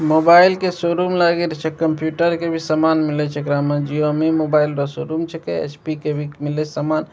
Mobile के showroom लगे छे कंप्यूटर के भी सामान मिल छे एकरा में जिओमी मोबाइल रअ शो रूम छेके एच.पी. के भी मिले सामान।